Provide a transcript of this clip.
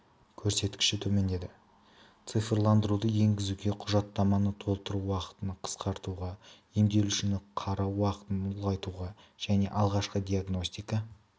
көрсеткіші төмендеді цифрландыруды енгізу құжаттаманы толтыру уақытын қысқартуға емделушіні қарау уақытын ұлғайтуға және алғашқы диагностика